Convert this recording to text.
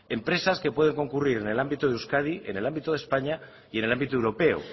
empresas que pueden concurrir en el ámbito de euskadi en el ámbito de españa y en el ámbito europeo